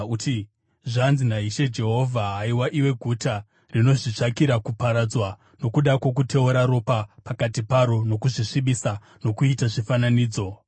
uti, ‘Zvanzi naIshe Jehovha: Haiwa iwe guta rinozvitsvakira kuparadzwa nokuda kwokuteura ropa pakati paro, nokuzvisvibisa nokuita zvifananidzo,